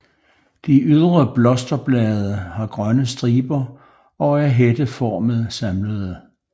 De ydre blosterblade har grønne striber og er hætteformet samlede